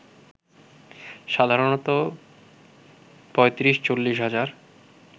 সাধারণত ৩৫-৪০ হাজার